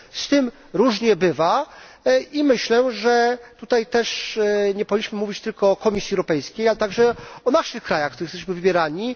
Z tym różnie bywa i myślę, że tutaj też nie powinniśmy mówić tylko o Komisji Europejskiej, ale także o naszych krajach, w których jesteśmy wybierani.